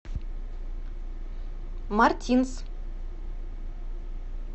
мартинс